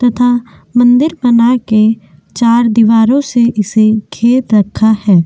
तथा मंदिर बना के चार दीवारों से इसे घेर रखा है।